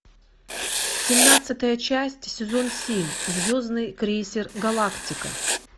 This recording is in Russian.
семнадцатая часть сезон семь звездный крейсер галактика